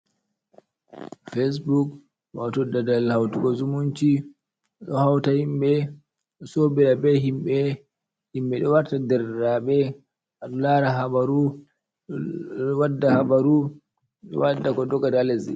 Fesbuk wato dal dal hautata zumunci, ɗo hauta himɓe ɗo so ɓira be himɓe, himɓe ɗo warta derɗiraɓe, aɗolara habaru, ɗo wadda habaru, ɗo wadda ko doggakata halesdi.